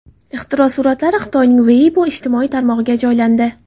Ixtiro suratlari Xitoyning Weibo ijtimoiy tarmog‘iga joylandi.